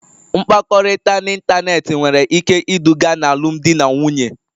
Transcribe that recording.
Mkpakọrịta n'ịntanetị nwere ike iduga n'alụmdi na nwunye